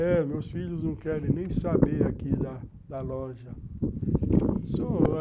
É, meus filhos não querem nem saber aqui da da loja.